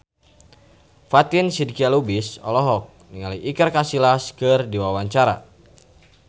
Fatin Shidqia Lubis olohok ningali Iker Casillas keur diwawancara